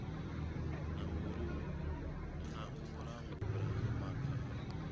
na u langula maga a